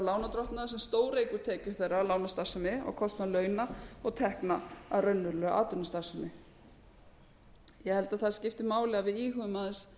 lánardrottna sem stóreykur tekjur meira af lánastarfsemi á kostnað launa og tekna af raunverulegri atvinnustarfsemi ég held að það skipti máli að við íhugum aðeins